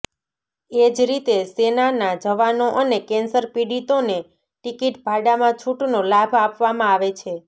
એ જ રીતે સેનાના જવાનો અને કેન્સર પીડિતોને ટિકિટ ભાડામાં છૂટનો લાભ આપવામાં આવે છે